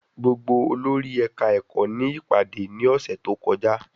Gbogbo olórí ẹ̀ka ẹ̀kọ́ ní ìpàdé ní ọ̀sẹ́ tó kọjá.